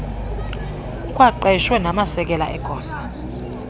kukwaqeshwe namasekela egosa